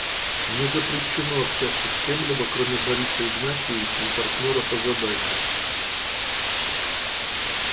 мне запрещено общаться с кем-либо кроме бориса игнатьевича и партнёра по заданию